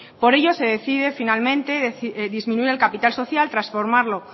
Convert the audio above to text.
por ello se decide finalmente disminuir el capital social transformarlo